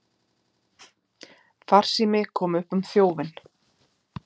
Farsími kom upp um þjófinn